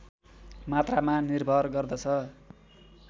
मात्रामा निर्भर गर्दछ